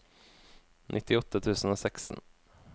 nittiåtte tusen og seksten